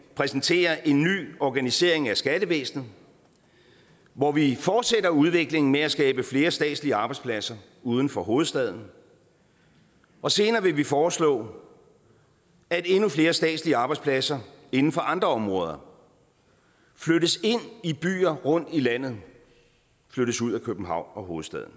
præsentere en ny organisering af skattevæsenet hvor vi fortsætter udviklingen med at skabe flere statslige arbejdspladser uden for hovedstaden og senere vil vi foreslå at endnu flere statslige arbejdspladser inden for andre områder flyttes ind i byer rundt i landet og flyttes ud af københavn hovedstaden